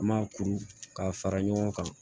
An m'a kuru k'a fara ɲɔgɔn kan